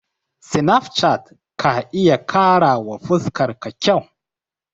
Sinafcat ka iya ƙarawa fuskar ka kyau.